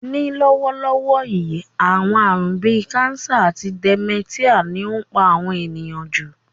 Ní lówólówó yi, àwon àrún bi cancer àti dementia ni o n pa àwon èyàn jù